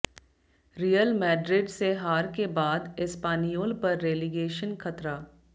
real Madrid से हार के बाद एस्पानियोल पर रेलीगेशन खतरा